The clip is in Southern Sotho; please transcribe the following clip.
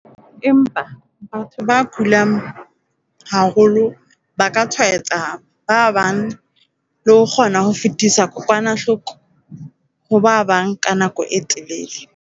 Empa, batho ba kulang haholo ba ka tshwaetsa ba bang le ho kgona ho fetisetsa kokwanahloko ho ba bang ka nako e telele.